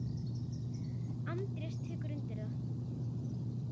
Andrés tekur undir það.